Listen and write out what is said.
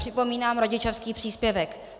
Připomínám rodičovský příspěvek.